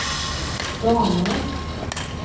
damer